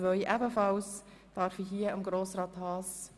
Können wir diese gemeinsam beraten?